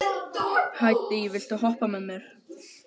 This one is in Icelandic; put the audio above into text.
Hædý, viltu hoppa með mér?